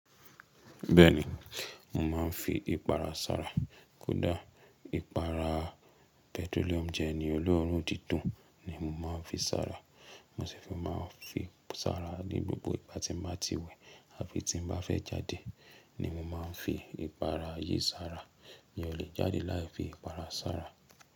Bẹ́ẹ̀ni, mo máa ń fi ipara sára. Kódà ipara petroleum gel ni olóró dídùn ni mo máa ń fi sára. Mo se sì fi máa ń fi sára ní gbogbo ìgbà ti máa ti wẹ̀ àfi tí n bá fẹ́ jáde ni mo máa ń fi ipara yìí sára. Mi o lè jáde lai fi ipara sára.